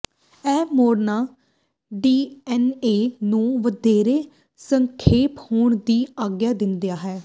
ਇਹ ਮੋੜਨਾ ਡੀਐਨਏ ਨੂੰ ਵਧੇਰੇ ਸੰਖੇਪ ਹੋਣ ਦੀ ਆਗਿਆ ਦਿੰਦਾ ਹੈ